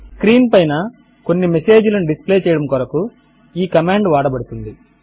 screen పైన కొన్ని message లను డిస్ప్లే చేయడము కొరకు ఈ కమాండ్ వాడబడుతుంది